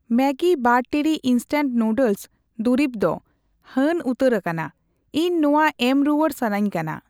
Maggi ᱵᱟᱨ ᱴᱤᱲᱤᱡ instant noodles ᱫᱩᱨᱤᱵᱽ ᱫᱚ ᱦᱟᱹᱱ ᱩᱛᱟᱹᱨ ᱟᱠᱟᱱᱟ, ᱤᱧ ᱱᱚᱣᱟ ᱮᱢ ᱨᱩᱣᱟᱹᱲ ᱥᱟᱹᱱᱟᱧ ᱠᱟᱱᱟ ᱾